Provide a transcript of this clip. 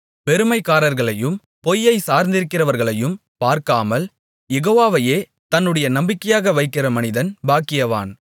பெருமைக்காரர்களையும் பொய்யைச் சார்ந்திருக்கிறவர்களையும் பார்க்காமல் யெகோவாவையே தன்னுடைய நம்பிக்கையாக வைக்கிற மனிதன் பாக்கியவான்